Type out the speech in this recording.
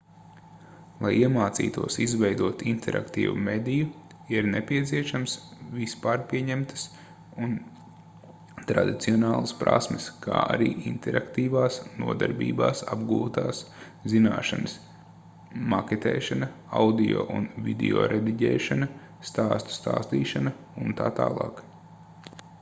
lai iemācītos izveidot interaktīvu mediju ir nepieciešamas vispārpieņemtas un tradicionālas prasmes kā arī interaktīvās nodarbībās apgūtās zināšanas maketēšana audio un videorediģēšana stāstu stāstīšana utt.